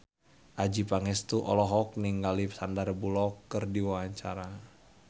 Adjie Pangestu olohok ningali Sandar Bullock keur diwawancara